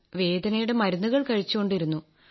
വേദനയുടെ മരുന്നുകൾ കഴിച്ചുകൊണ്ടിരുന്നു